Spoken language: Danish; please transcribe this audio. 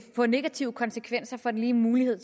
få negative konsekvenser for den lige mulighed